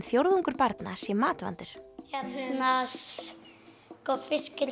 fjórðungur barna sé matvandur hérna sko fiskur